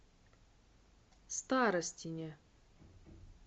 старостине